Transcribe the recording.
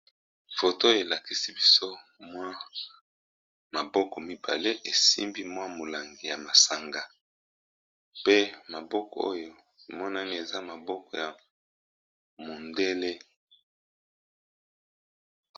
Foto elakisi biso mwa maboko mibale esimbi mwa molangi ya masanga pe maboko oyo emonani eza maboko ya mondele.